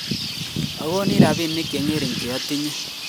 agonin rabinik che ngering' che atinye